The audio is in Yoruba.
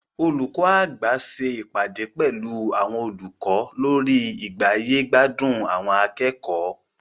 Olùkọ́ àgbà ṣe ìpàdé pẹlu àwọn olùkọ́ lórí igbáyé-gbádùn àwọn akẹ́kọ̀ọ́.